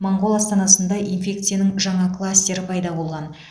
моңғол астанасында инфекцияның жаңа кластері пайда болған